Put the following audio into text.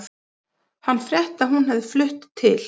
Hann frétti að hún hefði flutt til